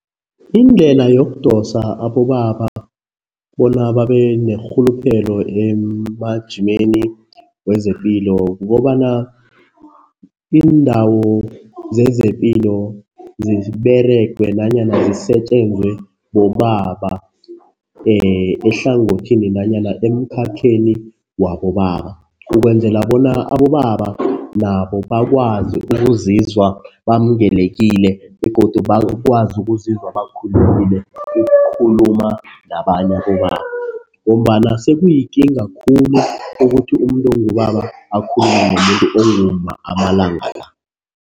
Indlela yokudosa abobaba bona babe nerhuluphelo emajimeni wezepilo kukobana iindawo zezepilo ziberegwe nanyana zisetjenzwe bobaba ehlangothini nanyana emkhakheni wabobaba. Ukwenzela bona abobaba nabo bakwazi ukuzizwa bamukelekile begodu bakwazi ukuzizwa ukukhuluma nabanye abobaba ngombana sekuyikinga khulu ukuthi umuntu ongubaba akhulume umuntu ongumma amalanga la.